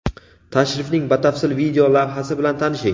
Tashrifning batafsil video lavhasi bilan tanishing!.